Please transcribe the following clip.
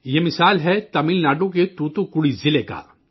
یہ مثال ہے تمل ناڈو کے توتو کوڑی ضلع کی